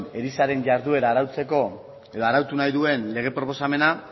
erizainen jarduera arautzeko edo arautu nahi duen lege proposamena